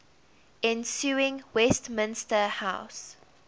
ensuing westminster house